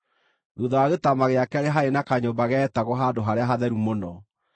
Thuutha wa gĩtama gĩa keerĩ haarĩ na kanyũmba geetagwo, “Handũ-harĩa-Hatheru-Mũno,”